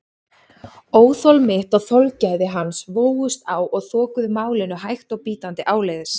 Óþol mitt og þolgæði hans vógust á og þokuðu málinu hægt og bítandi áleiðis.